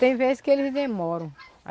Tem vezes que eles demoram.